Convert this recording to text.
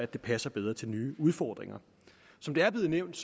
de passer bedre til nye udfordringer som det er blevet nævnt